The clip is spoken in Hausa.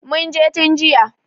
Mun je tun jiya.